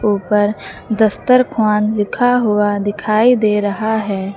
ऊपर दस्तरख्वान लिखा हुआ दिखाई दे रहा है।